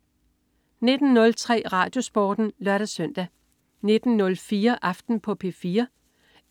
19.03 RadioSporten (lør-søn) 19.04 Aften på P4